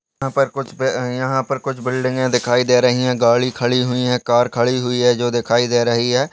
यहाँ पर कुछ यहाँ पर कुछ बिल्डिंगे दिखाई दे रही है गाड़ी खड़ी हुई है कार खड़ी हुई है जो दिखाई दे रही है।